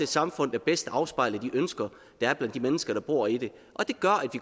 samfund der bedst afspejler de ønsker der er blandt de mennesker der bor i det og det gør